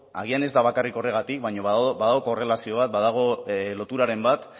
agian ez da bakarrik horregatik baina badago korrelazio bat badago loturaren bat